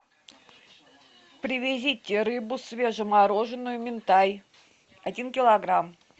привезите рыбу свежемороженую минтай один килограмм